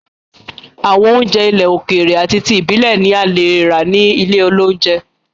Àwọn oúnjẹ ilẹ̀ òkèrè ati ti ibilẹ̀ ni a leè rà ní ilé oúnjẹ.